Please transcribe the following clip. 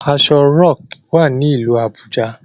Aso rock wá ní ilú Abuja.